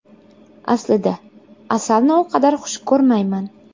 Aslida, asalni u qadar xush ko‘rmayman.